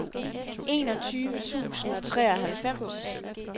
enogtyve tusind og treoghalvfems